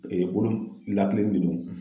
bolo nin lakileni de do.